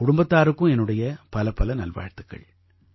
உங்க குடும்பத்தாருக்கும் என்னுடைய பலப்பல நல்வாழ்த்துக்கள்